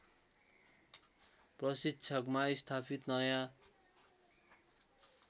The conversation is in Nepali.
प्रशिक्षकमा स्थापित नयाँ